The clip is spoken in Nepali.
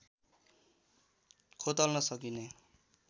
खोतल्न सकिने